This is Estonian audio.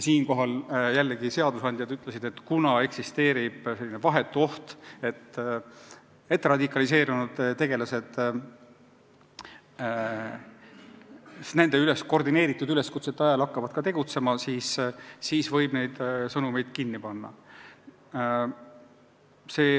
Jällegi, seadusandjad ütlesid, et kuna eksisteerib vahetu oht, et radikaliseerunud tegelased hakkavad nende koordineeritud üleskutsete ajel tegutsema, siis võib neid sõnumeid blokeerida.